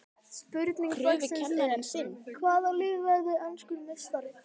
Spurning dagsins er: Hvaða lið verður enskur meistari?